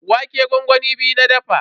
Wake gwangwami biyu na dafa.